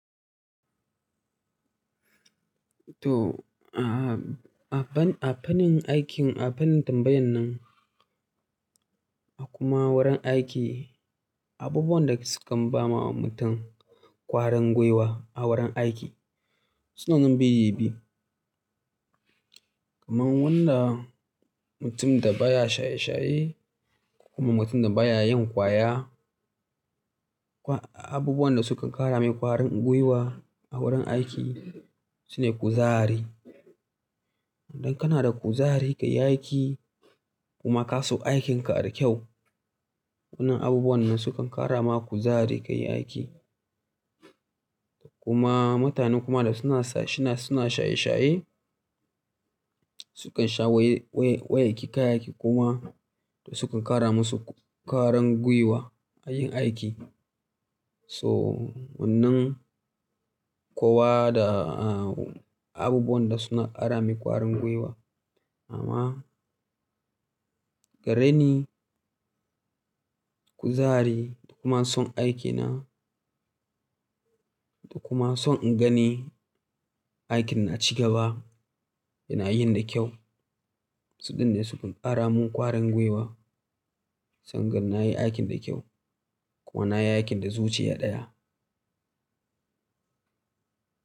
To, a-a-a fannin aikin, a fannin tambayan nan, a kuma wurin aiki, abubuwan da sukan ba ma mutum ƙwaringwiwa a wurin aiki suna nan biyu-biyu. Kaman wanda mutum da baya shaye-shaye kuma mutum da baya yin kwaya. Abubuwan da sukan ƙara mai ƙwaringwiwa a wurin aiki sune kuzari. Idan kana da kuzari ka yi aiki kuma ka so aikinka adaukyau, wannan abubuwan nan sukan ƙara ma kuzari ka yi aiki. Kuma mutanen kuma da suna s-shina suna shaye-shaye sukan sha waye-waye-waye kayayyayaki kuma sukan ƙara masu ƙwaringwiwa a yin aiki. So wannan kowa da abubuwan da suna ƙara mai ƙwaringwiwa. Amma gareni kuzari da kuma son aikina da kuma son in gani aikin na ci gaba yana yin da kyau, suɗɗin ne sukan ƙara mun ƙwaringwiwa sangan na yi aikin da kyau kuma na yi aikin da zuciya ɗaya.